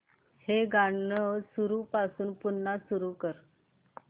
हे गाणं सुरूपासून पुन्हा सुरू कर